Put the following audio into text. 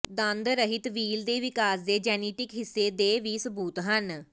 ਦੰਦ ਰਹਿਤ ਵ੍ਹੀਲ ਦੇ ਵਿਕਾਸ ਦੇ ਜੈਨੇਟਿਕ ਹਿੱਸੇ ਦੇ ਵੀ ਸਬੂਤ ਹਨ